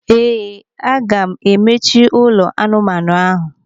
Ee, aga m emechi ụlọ anụmanụ ahụ.